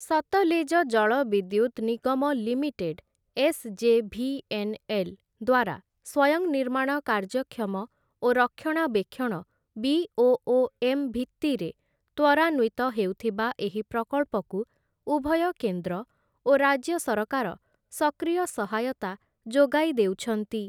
ସତଲେଜ ଜଳବିଦ୍ୟୁତ୍‌ ନିଗମ limited SJVNL. ଦ୍ୱାରା ସ୍ଵୟଂ ନିର୍ମାଣ କାର୍ଯ୍ୟକ୍ଷମ ଓ ରକ୍ଷଣାବେକ୍ଷଣ ବି.ଓ.ଓ.ଏମ୍‌. ଭିତ୍ତିରେ ତ୍ୱରାନ୍ୱିତ ହେଉଥିବା ଏହି ପ୍ରକଳ୍ପକୁ ଉଭୟ କେନ୍ଦ୍ର ଓ ରାଜ୍ୟ ସରକାର ସକ୍ରିୟ ସହାୟତା ଯୋଗାଇ ଦେଉଛନ୍ତି ।